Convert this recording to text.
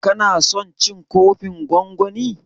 Ka na son cin kofin gwangwanin?